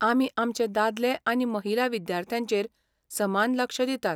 आमी आमचे दादले आनी महिला विद्यार्थ्यांचेर समान लक्ष दितात.